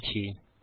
লিখছি